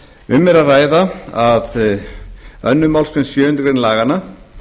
um er að ræða að annarri málsgrein sjöundu grein laganna